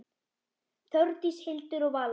Þórdís, Hildur og Vala.